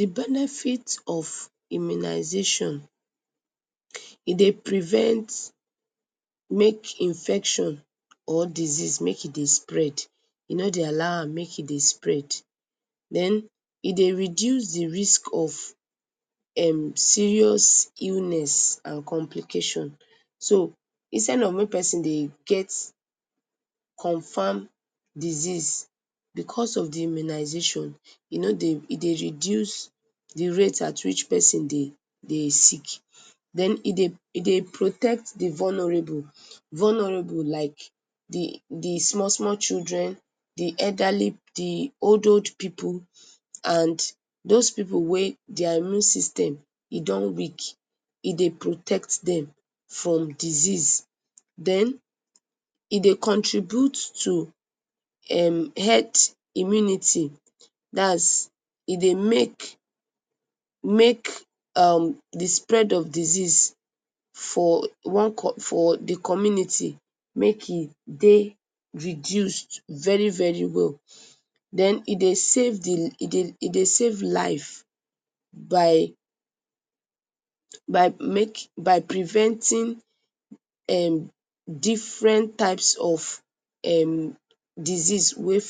D benefit of immunization, e dey prevent make infection or diseases make e dey spread, e no dey allow am make e dey spread, den e dey reduce d risk of serious illness and complication, so instead of make persin dey get confam disease because of d immunization e no dey, e dey reduce d rate at which persin dey sick, den e dey protect d vulnerable like d small small children, d elderly, d old old pipu, and those pipu wey dia immune system don weak, e dey protect them from disease, den e dey contribute to um health immunity, dats e dey make um d spread of d disease for d community make e dey reduced very very well den e dey save d, e dey save live by preventing um different types of um disease wey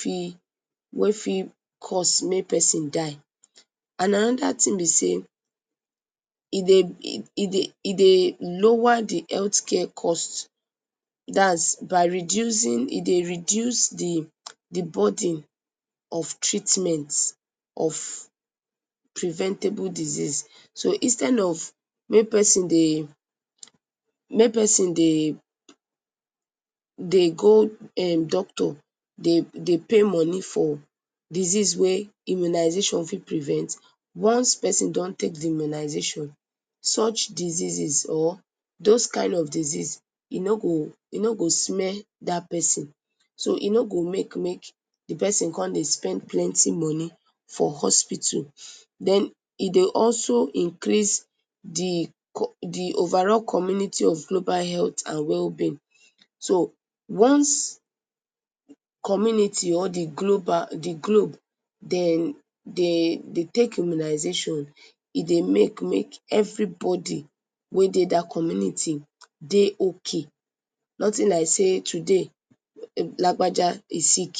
fit cause make persin die and anoda thing b sey e dey lower d health care cost, dats by reducing, e dey reduce d burden of treatment of preventable disease so instead of make persin dey go doctor dey pay money for disease wey immunization fit prevent, once persin don take d immunization, such diseases or those kind of disease e no go smell dat persin, so e no go make may d persin dey spend plenty money for hospital, den e dey also increase d overall community of global health and well being, so once community or d globe dem dey take immunization e dey make may everybody wey dey dat community dey ok, nothing like sey today, lagbaja e sick.